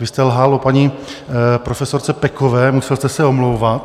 Vy jste lhal o paní profesorce Pekové, musel jste se omlouvat.